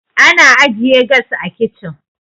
ana ajiye gas a kicin